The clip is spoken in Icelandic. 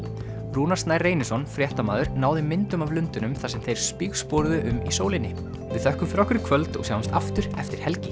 Rúnar Snær Reynisson fréttamaður náði myndum af lundunum þar sem þeir um í sólinni við þökkum fyrir okkur í kvöld og sjáumst aftur eftir helgi